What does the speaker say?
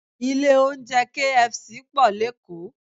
Ilé oúnjẹ KFC pọ̀ lékòó